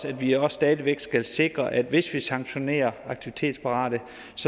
at vi også stadig væk skal sikre at hvis vi sanktionerer aktivitetsparate